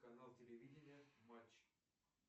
канал телевидения матч